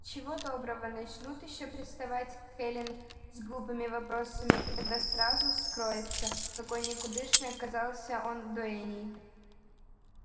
чего доброго начнут ещё приставать к эллин с глупыми вопросами и тогда сразу вскроется какой никудышной оказался он дуэньей